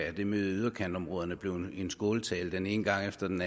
at det med yderområderne ikke blev en skåltale den ene gang efter den